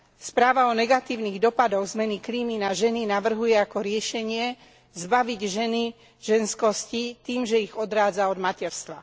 Správa o negatívnych dopadoch zmeny klímy na ženy navrhuje ako riešenie zbaviť ženy ženskosti tým, že ich odrádza od materstva.